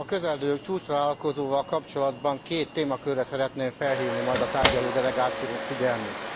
A közelgő csúcstalálkozóval kapcsolatban két témakörre szeretném felhívni majd a tárgyaló delegáció figyelmét.